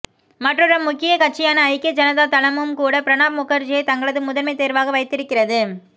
மற்றொரு முக்கிய கட்சியான ஐக்கிய ஜனதா தளமும்கூட பிரணாப் முகர்ஜியையே தங்களது முதன்மைத் தேர்வாக வைத்திருக்கிறது